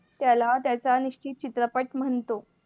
त्याला त्याच्या निश्चित चित्रपट म्हणतो.